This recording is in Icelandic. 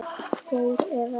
Geir Evert.